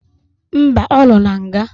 Mba, ọ nọ na nga